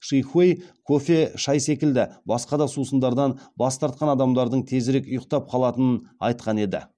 ши хуэй кофе шай секілді басқа да сусындардан бас тартқан адамдардың тезірек ұйықтап қалатынын айтқан еді